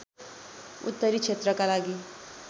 उत्तरी क्षेत्रका लागि